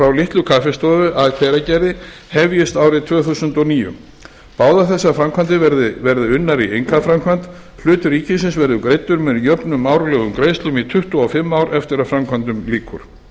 litlu kaffistofu að hveragerði hefjist árið tvö þúsund og níu báðar þessar framkvæmdir verða unnar í einkaframkvæmd hlutur ríkisins verður greiddur með jöfnum árlegum greiðslum í tuttugu og fimm ár eftir að framkvæmdum lýkur